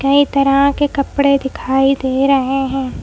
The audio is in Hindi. कई तरह के कपड़े दिखाई दे रहे हैं ।